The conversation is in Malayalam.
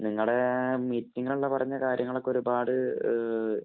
നിങ്ങടെ മീറ്റിങ്ങില്‍ അന്ന് പറഞ്ഞ കാര്യങ്ങള്‍ ഒക്കെ ഒരുപാട്